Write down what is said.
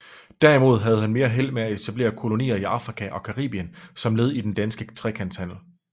Derimod havde han mere held med at etablere kolonier i Afrika og Caribien som led i den danske trekantshandel